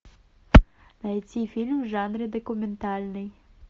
найти фильм в жанре документальный